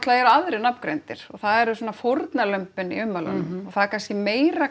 eru aðrir nafngreindir og það eru svona fórnarlömbin í ummælunum og það er kannski meira